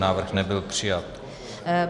Návrh nebyl přijat.